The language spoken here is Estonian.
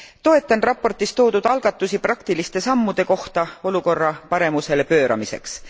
Toetan raportis toodud algatusi praktiliste sammude kohta olukorra paremusele pööramiseks.